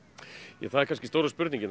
ja það er stóra spurningin